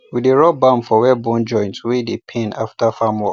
we dey rub balm for where bone joint wey dey pain after farm work